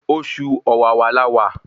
Oṣù ọ̀wàrà la wà